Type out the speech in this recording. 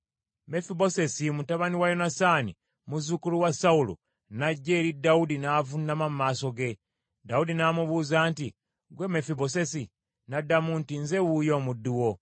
Mefibosesi mutabani wa Yonasaani, muzzukulu wa Sawulo n’ajja eri Dawudi n’avuunama mu maaso ge. Dawudi n’amubuuza nti, “Ggwe Mefibosesi?” N’addamu nti, “Nze wuuyo omuddu wo.”